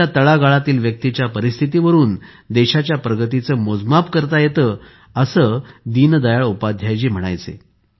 देशाच्या तळागाळातील व्यक्तीच्या परिस्थितीवरून देशाच्या प्रगतीचे मोजमाप करता येते असे दीनदयाळ उपाध्याय जी म्हणायचे